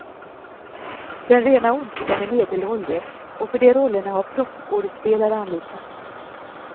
Den rena ondskan är medelålders, och för de rollerna har proffsskådespelare anlitats.